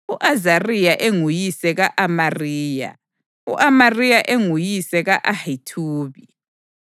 U-Azariya enguyise ka-Amariya, u-Amariya enguyise ka-Ahithubi,